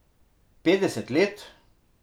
Petdeset let?